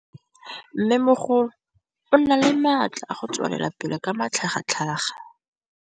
Mmêmogolo o na le matla a go tswelela pele ka matlhagatlhaga.